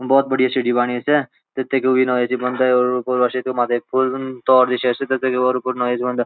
भौत बडिया सिटी बणी त तेकू ऐंच बंद आर पूर्वा क्षेत्रा मा ऐक पुल ये तौर विशेष च इ बुणायाबि ह्वंदा गर्वा बि ह्वंदा।